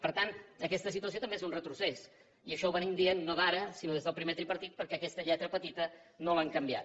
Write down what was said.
per tant aquesta situació també és un retrocés i això ho venim dient no d’ara sinó des del primer tripartit perquè aquesta lletra petita no l’han canviat